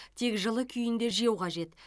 тек жылы күйінде жеу қажет